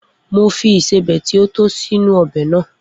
Mo fi ìsébẹ̀ ti o tó sínú ọbẹ̀ náà.